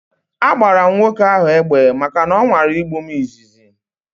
A gbara m nwoke ahu egbe maka na ọ nwara igbu m izizi